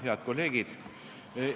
Head kolleegid!